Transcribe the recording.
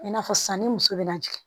I n'a fɔ sisan ni muso bɛna jigin